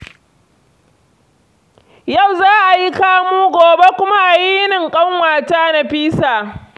Yau za a yi kamu gobe kuma a yi yinin ƙanwata Nafisa.